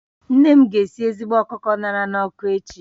Nne m ga-esi ezigbo ọkụkọ a ṅara n'ọkụ echi